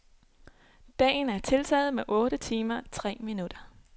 Dagen er tiltaget med otte timer tre minutter.